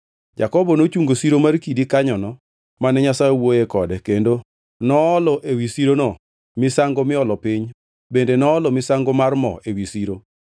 Jakobo nochungo siro mar kidi kanyono mane Nyasaye owuoyoe kode, kendo noolo ewi sirono misango miolo piny bende noolo misango mar mo ewi siro.